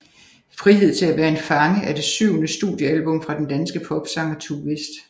Frihed til at være en fange er det syvende studiealbum fra den danske popsanger Tue West